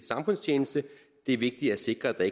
samfundstjeneste det er vigtigt at sikre